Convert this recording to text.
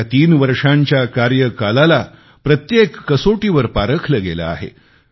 या तीन वर्षांच्या कार्यकाळाला प्रत्येक कसोटीवर पारखले गेले आहे